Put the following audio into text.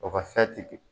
O ka